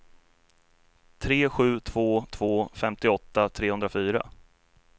tre sju två två femtioåtta trehundrafyra